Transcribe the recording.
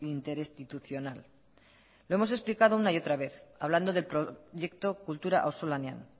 interinstitucional lo hemos explicado una y otra vez hablando del proyecto kultura auzolanean